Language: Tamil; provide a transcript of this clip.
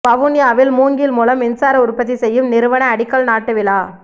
வவுனியாவில் மூங்கில் மூலம் மின்சார உற்பத்தி செய்யும் நிறுவன அடிக்கல் நாட்டு விழா